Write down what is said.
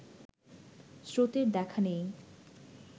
স্রোতের দেখা নেই